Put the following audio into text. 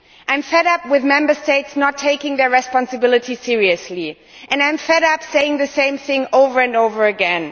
I am fed up with Member States not taking their responsibilities seriously. I am fed up saying the same thing over and over again.